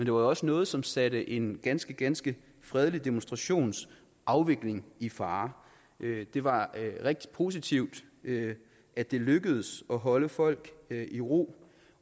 jo også noget som satte en ganske ganske fredelig demonstrations afvikling i fare det var rigtig positivt at det lykkedes at holde folk i ro